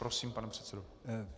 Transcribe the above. Prosím, pane předsedo.